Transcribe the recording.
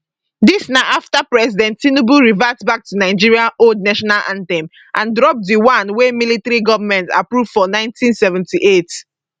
dis na afta president tinubu revert back to nigeria old national anthem and drop di one wey military goment approve for 1978